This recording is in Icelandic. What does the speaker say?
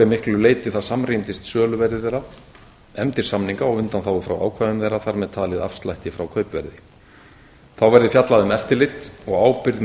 miklu leyti það samrýmdist söluverði þeirra efndir samninga og og undanþágu frá ákvæðum þeirra þar með talið afslætti frá kaupverði þá verði fjallað um eftirlit og ábyrgð með